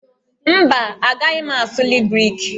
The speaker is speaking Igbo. Mba, agaghị m asụli Griki